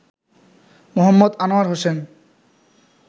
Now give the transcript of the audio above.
Md. Anwar Hossain